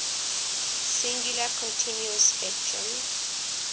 singular continuous spectrum